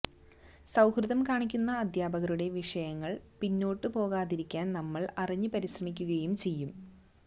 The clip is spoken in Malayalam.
സൌഹൃദം കാണിക്കുന്ന അധ്യാപകരുടെ വിഷയങ്ങളിൽ പിന്നോട്ടു പോകാതിരിക്കാൻ നമ്മൾ അറിഞ്ഞു പരിശ്രമിക്കുകയും ചെയ്യും